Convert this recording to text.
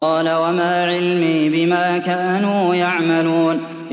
قَالَ وَمَا عِلْمِي بِمَا كَانُوا يَعْمَلُونَ